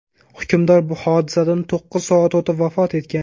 Hukmdor hodisadan to‘qqiz soat o‘tib, vafot etgan.